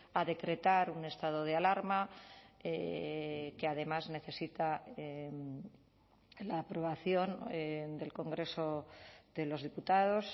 a decretar un estado de alarma que además necesita la aprobación del congreso de los diputados